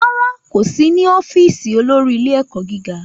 Rárá, kò sí ní ọ́fíìsì olórí ilé-ẹ̀kọ́ gíga.